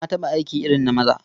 Na taɓa aiki irin na maza.